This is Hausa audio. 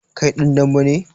Kai dan dambe ne?